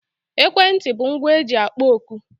Ekwentị bụ ngwa e ji akpọ oku